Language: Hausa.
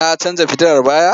Na canja fitilar baya?